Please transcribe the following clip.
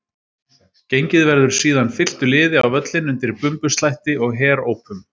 Gengið verður síðan fylktu liði á völlinn undir bumbuslætti og herópum.